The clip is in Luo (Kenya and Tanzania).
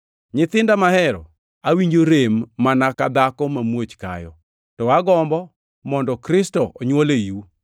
Nyithinda mahero, awinjo rem mana ka dhako mamuoch kayo, ka agombo mondo Kristo onywol eiu.